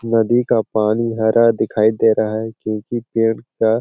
नदी का पानी हरा दिखाई दे रहा है क्योकि पेड़ का --